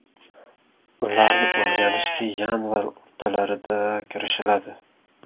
Ularni o‘rganishga yanvar o‘rtalarida kirishiladi.